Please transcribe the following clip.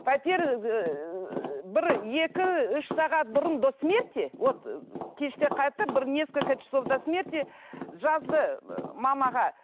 пәтер бір екі үш сағат бұрын до смерти вот кеште қайтты бір несколько часов до смерти жазды мамаға